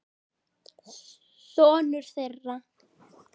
Sonur þeirra.